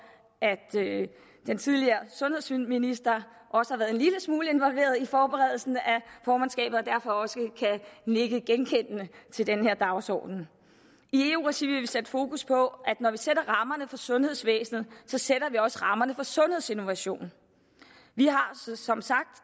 at den tidligere sundhedsminister også har været en lille smule involveret i forberedelsen af formandskabet og derfor også kan nikke genkendende til den her dagsorden i eu regi sætte fokus på at når vi sætter rammerne for sundhedsvæsenet sætter vi også rammerne for sundhedsinnovation vi har som sagt